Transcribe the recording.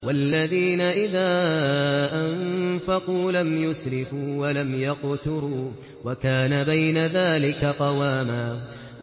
وَالَّذِينَ إِذَا أَنفَقُوا لَمْ يُسْرِفُوا وَلَمْ يَقْتُرُوا وَكَانَ بَيْنَ ذَٰلِكَ قَوَامًا